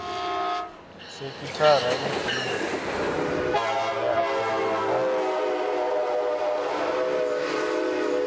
sekhithara ifhio ya vhureakhovhe na